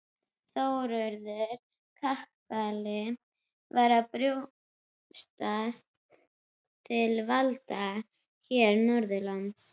Þórður kakali var að brjótast til valda hér norðanlands.